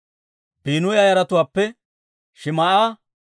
Biinuya yaratuwaappe Shim"a,